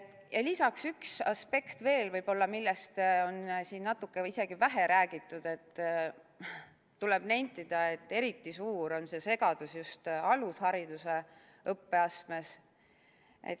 Ja lisaks üks aspekt veel, millest on siin natuke või isegi vähe räägitud: tuleb nentida, et eriti suur on see segadus just alushariduse õppeastmes.